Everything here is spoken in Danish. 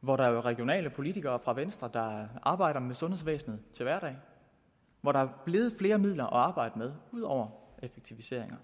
hvor der jo er regionale politikere fra venstre der arbejder til hverdag og hvor der er blevet flere midler at arbejde med ud over effektiviseringer